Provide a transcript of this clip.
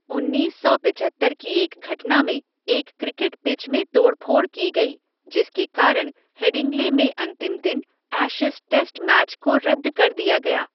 उन्नीस सौ पिचहत्तर की एक घटना में एक क्रिकेट पिच में तोड़ फोड़ की गई, जिसके कारण हेडिंग्ले में अंतिम दिन एशिज़ टेस्ट मैच को रद्द कर दिया गया।